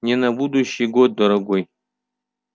не на будущий год дорогой